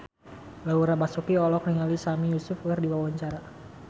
Laura Basuki olohok ningali Sami Yusuf keur diwawancara